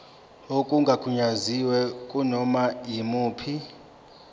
okungagunyaziwe kunoma yimuphi